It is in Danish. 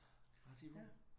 Bare 10 pund